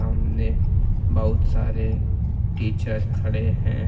ने बहुत सारे टीचर खड़े हैं।